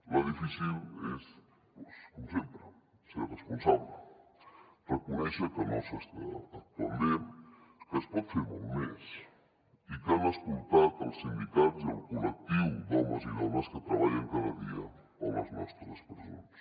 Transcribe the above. la difícil és com sempre ser responsable reconèixer que no s’està actuant bé que es pot fer molt més i que han escoltat els sindicats i el col·lectiu d’homes i dones que treballen cada dia a les nostres presons